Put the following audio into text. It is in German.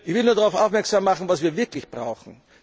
Ich will nur darauf aufmerksam machen, was wir wirklich brauchen.